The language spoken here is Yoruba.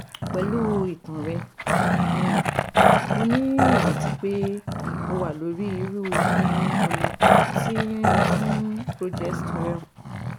pẹ̀lú ìtàn rẹ, um mo ní ìrètí pé o wà lórí irú um ọ̀nà kan ti um progesterone